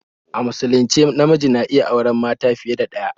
A musulunce namiji na iya auren mata fiye da ɗaya